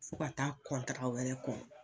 Fo ka taa wɛrɛ kɔn